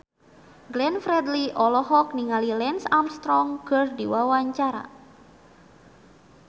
Glenn Fredly olohok ningali Lance Armstrong keur diwawancara